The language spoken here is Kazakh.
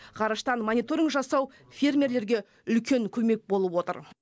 ғарыштан мониторинг жасау фермерлерге үлкен көмек болып отыр